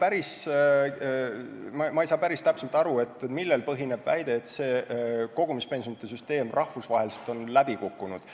Esiteks, ma ei saa päris täpselt aru, millel põhineb väide, et see kogumispensionide süsteem on rahvusvaheliselt läbi kukkunud.